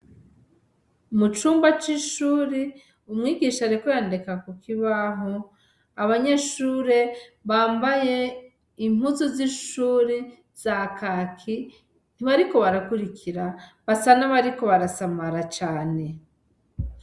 Mucumba cishure umwigisha ariko yandika kukibaho abanyeshure bambaye impuzu zishure za kaki ntibariko barakurikira basa nabariko barasamara cane.